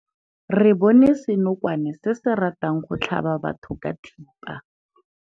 Re bone senokwane se se ratang go tlhaba batho ka thipa.